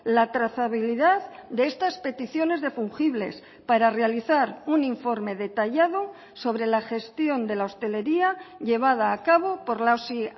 la trazabilidad de estas peticiones de fungibles para realizar un informe detallado sobre la gestión de la hostelería llevada a cabo por la osi